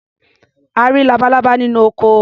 A rí labalábá nínú oko.